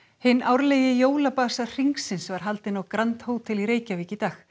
hinn árlegi jólabasar hringsins var haldinn á grand Hótel í Reykjavík í dag